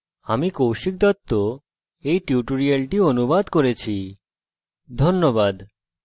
আমি কৌশিক দত্ত এই tutorialটি অনুবাদ করেছি এতে অংশগ্রহনের জন্য ধন্যবাদ